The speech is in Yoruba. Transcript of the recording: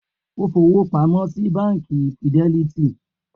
O fọwọ́ pamọ́ sí Báńkì Fidelity?